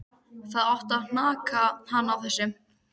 Það átti að hanka hann á þessu.